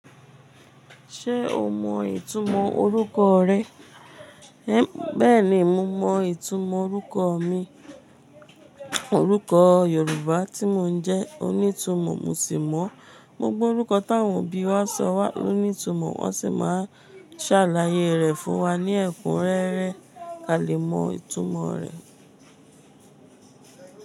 Ṣé o mọ ìtumọ̀ orúkọ rẹ? Bẹ́ẹ̀ni, mo mọ ìtumọ̀ orúkọ mi. Orúkọ Yorùbá tí mo ń jẹ́ onítumọ̀, mo sì mọ. Gbogbo orúkọ t'áwọn òbí wa sọ wá ló ní ìtumọ̀, wọ́n sì máa ń ṣàlàyé rẹ̀ fún wa ní ẹ̀kún rẹ́rẹ́ ka lè mọ ìtumọ̀ rẹ̀.